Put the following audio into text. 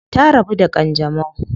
Ta rabu da kanjamau.